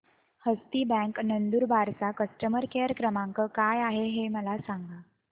हस्ती bank Nandurbar चा customer care क्रमांक काय आहे हे मला सांगा